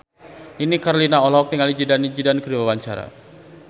Nini Carlina olohok ningali Zidane Zidane keur diwawancara